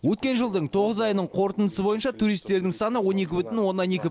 өткен жылдың тоғыз айының қорытындысы бойынша туристердің саны он екі бүтін оннан екі